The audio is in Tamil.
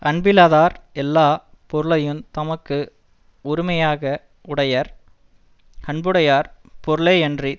அன்பிலாதார் எல்லா பொருளையுந் தமக்கு உரிமையாக வுடையர் அன்புடையார் பொருளேயன்றித்